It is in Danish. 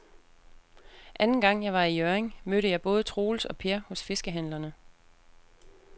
Anden gang jeg var i Hjørring, mødte jeg både Troels og Per hos fiskehandlerne.